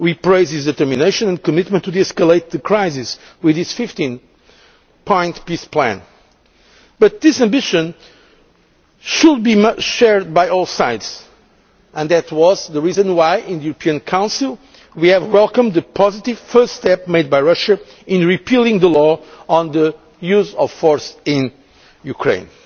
We praised his determination and commitment to de escalating the crisis with his 15 point peace plan. But this ambition must be shared by all sides. That was the reason why, in the European Council, we welcomed the positive first step made by Russia in repealing the law on the use of force in Ukraine.